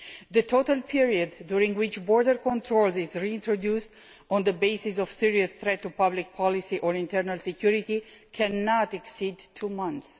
The total period during which border controls are reintroduced on the basis of a serious threat to public policy or internal security cannot exceed two months.